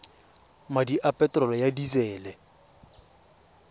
madi a peterolo ya disele